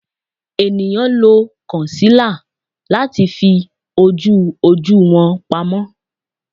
Eniyan lo concealer lati fi oju oju wọn pamọ